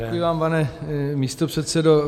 Děkuji vám, pane místopředsedo.